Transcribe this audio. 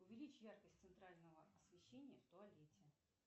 увеличь яркость центрального освещения в туалете